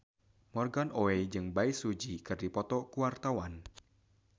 Morgan Oey jeung Bae Su Ji keur dipoto ku wartawan